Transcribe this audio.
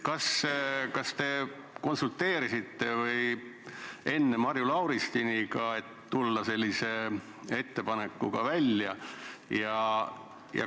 Kas te konsulteerisite enne Marju Lauristiniga, kui sellise ettepanekuga välja tulite?